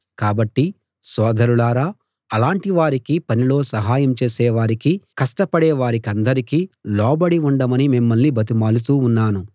కాబట్టి సోదరులారా అలాటి వారికి పనిలో సహాయం చేసే వారికి కష్టపడే వారికందరికీ లోబడి ఉండమని మిమ్మల్ని బతిమాలుతూ ఉన్నాను